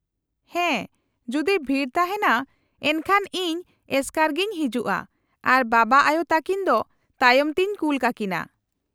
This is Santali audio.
-ᱦᱮᱸ, ᱡᱩᱫᱤ ᱵᱷᱤᱲ ᱛᱟᱦᱮᱸᱱᱟ ᱮᱱᱠᱷᱟᱱ ᱤᱧ ᱮᱥᱠᱟᱨ ᱜᱮᱧ ᱦᱤᱡᱩᱜᱼᱟ, ᱟᱨ ᱵᱟᱵᱟᱼᱟᱭᱳ ᱛᱟᱹᱠᱤᱱ ᱫᱚ ᱛᱟᱭᱚᱢ ᱛᱮᱧ ᱠᱩᱞ ᱠᱟᱠᱤᱱᱟ ᱾